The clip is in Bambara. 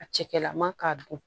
A cɛkɛlama k'a don